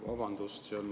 Vabandust!